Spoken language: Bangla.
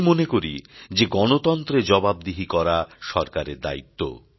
আমি মনে করি যে গণতন্ত্রে জবাবদিহি করা সরকারের দায়িত্ব